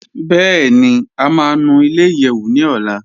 Bẹẹni, à má nù ilẹ̀-ìyẹ́wù ní ọ̀là.